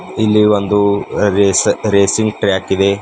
ಇಲ್ಲಿ ಒಂದು race racing track ಇದೆ.